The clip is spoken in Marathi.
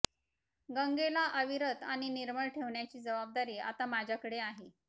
गंगेला अविरत आणि निर्मळ ठेवण्याची जबाबदारी आता माझ्याकडे आहे